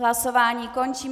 Hlasování končím.